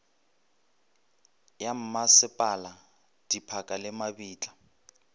ya mmasepala diphaka le mabitla